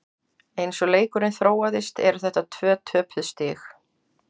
Eins og leikurinn þróaðist eru þetta tvö töpuð stig.